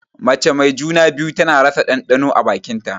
Mace mai juna-biyu tana rasa ɗanɗano a bakin ta.